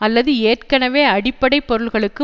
அல்லது ஏற்கனவே அடிப்படை பொருள்களுக்கு